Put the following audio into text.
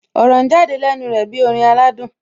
Ọ̀rọ̀ ń jáde lẹ́nu rẹ̀ bí orin aládùn